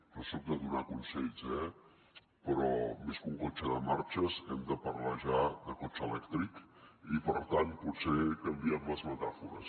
no soc de donar consells eh però més que un cotxe de marxes hem de parlar ja de cotxe elèctric i per tant potser canviem les metàfores